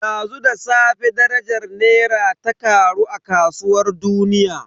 Dazu da safe darajar Naira ta karu a kasuwar duniya.